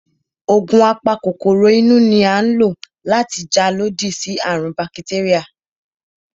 Ògùn a pa kòkòrò inú ni à ń lò láti jà lodí sí àrùn ún bakitéríà